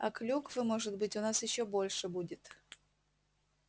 а клюквы может быть у нас ещё больше будет